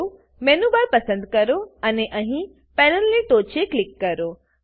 menu bar menu bar પસંદ કરો અને અહીં પેનલની ટોંચે ક્લિક કરો